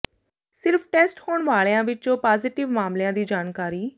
ਸਿਰਫ ਟੈਸਟ ਹੋਣ ਵਾਲਿਆਂ ਵਿਚੋਂ ਪਾਜ਼ੇਟਿਵ ਮਾਮਲਿਆਂ ਦੀ ਜਾਣਕਾਰੀ